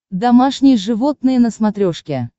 домашние животные на смотрешке